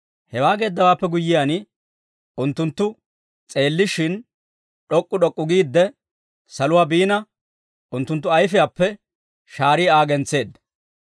Hewaa geeddawaappe guyyiyaan, unttunttu s'eellishshin, d'ok'k'u d'ok'k'u giidde, saluwaa biina, unttunttu ayfiyaappe shaarii Aa gentseedda.